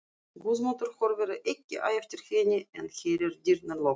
Guðmundur horfir ekki á eftir henni en heyrir dyrnar lokast.